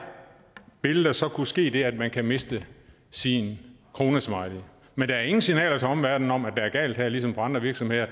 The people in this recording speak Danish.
vil der så kunne ske det at man kan miste sin kronesmiley men der er ingen signaler til omverdenen om at det er galt her ligesom på andre virksomheder